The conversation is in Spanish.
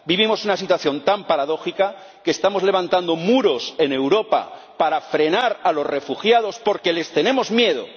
Vivimos una situación tan paradójica que estamos levantando muros en Europa para frenar a los refugiados, porque les tenemos miedo.